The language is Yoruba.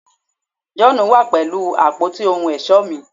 John wa pẹlu apoti ohun ọṣọ mi